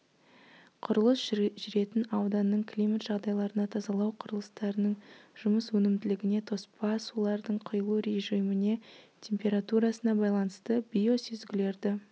құрылыс жүретін ауданның климат жағдайларына тазалау құрылыстарының жұмыс өнімділігіне тоспа сулардың құйылу режиміне температурасына байланысты биосүзгілерді